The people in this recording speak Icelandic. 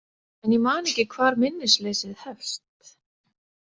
En ég man ekki hvar minnisleysið hefst.